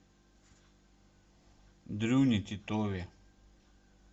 дрюне титове